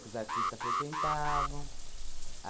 Que os artistas frequentavam.